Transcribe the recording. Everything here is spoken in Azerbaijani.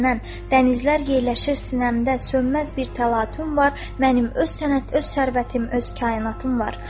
Dənizlər yerləşir sinəmdə, sönməz bir təlatum var, mənim öz sənət, öz sərvətim, öz kainatım var.